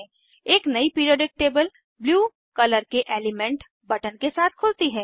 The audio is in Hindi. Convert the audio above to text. एक नयी पिरीऑडिक टेबल ब्लू कलर के एलीमेंट बटन के साथ खुलती है